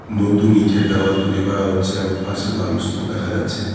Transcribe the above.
নতুন ইটের দেয়াল করা হচ্ছে এবং পাশে বালুর স্তুপ দেখা যাচ্ছে।